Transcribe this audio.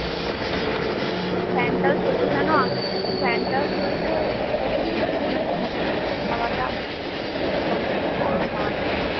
fan টাও চলছে fan চলছে যেন মনে হচ্ছে fan হাওয়াটা এরকম গরম হাওয়া নামছে